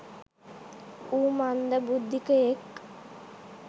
ඌ මන්ද බුද්දීකයෙක්.